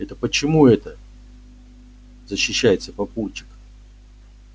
это почему это защищается папульчик